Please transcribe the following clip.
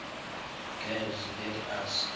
girls let us